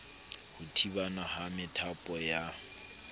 ho thibana ha methapo ya